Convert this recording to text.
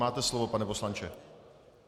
Máte slovo, pane poslanče.